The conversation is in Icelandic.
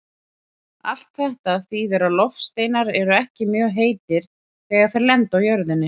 Allt þetta þýðir að loftsteinar eru ekki mjög heitir þegar þeir lenda á jörðinni.